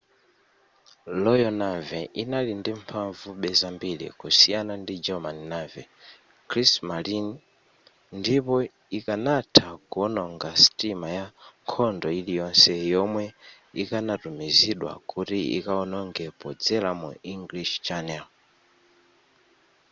royal navy inali ili ndi mphavube zambiri kusiyana ndi german navy kriegsmarine” ndipo ikanatha kuononga sitima ya nkhondo ili yonse yomwe ikanatumizidwa kuti ikaononge podzera mu english channel